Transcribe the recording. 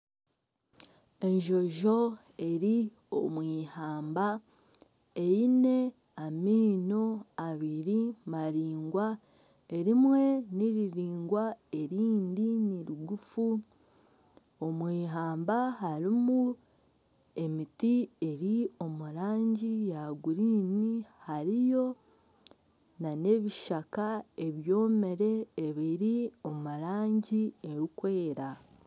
Enjojo eri omwihamba eine amaino abiri maraingwa erimwe niriraingwa erindi nirigufu omwihamba harimu emiti eri omurangi ya kinyaatsi hariyo nana ebishaka ebyomire ebiri omurangi erikwera.